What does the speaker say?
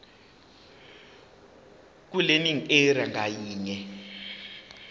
kwilearning area ngayinye